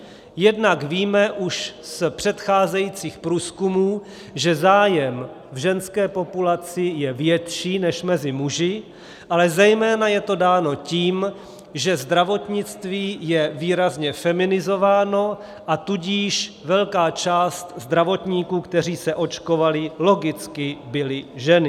Jednak víme už z předcházejících průzkumů, že zájem v ženské populaci je větší než mezi muži, ale zejména je to dáno tím, že zdravotnictví je výrazně feminizováno, a tudíž velká část zdravotníků, kteří se očkovali, logicky byly ženy.